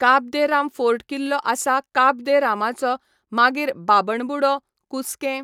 काब de Rama fort किल्लो आसा काब दे रामाचो मागीर बाबणबुडो, कुसकें